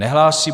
Nehlásí.